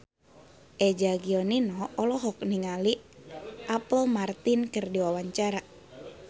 Eza Gionino olohok ningali Apple Martin keur diwawancara